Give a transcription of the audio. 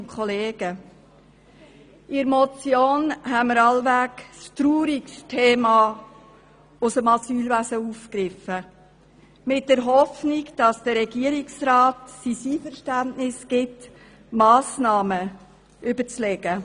Mit dieser Motion haben wir wohl das traurigste Thema aus dem Asylwesen aufgegriffen, in der Hoffnung, dass der Regierungsrat sein Einverständnis gibt und sich Massnahmen überlegt.